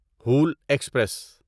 حول ایکسپریس